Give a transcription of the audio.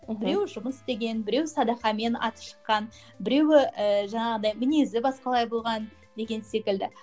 мхм біреуі жұмыс істеген біреуі садақамен аты шыққан біреуі і жаңағыдай мінезі басқалай болған деген секілді